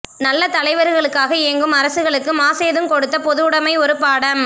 நல்ல தலைவர்களுக்காக ஏங்கும் அரசுகளுக்கு மாசேதுங் கொடுத்த பொதுவுடமை ஒரு பாடம்